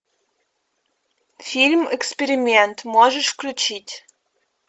фильм эксперимент можешь включить